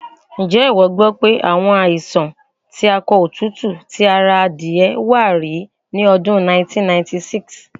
Ǹjé ìwọ gbọ́ pé àwọn àìsàn akọ òtútù ti ti ara adìẹ wá rí ní ọdún 1996?